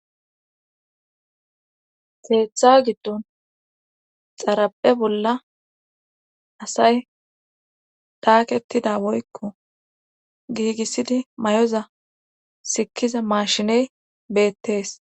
teeththa giddon xarape bolla asay daakettida woykko giigissidi may7oza sikkiza maashiney beettees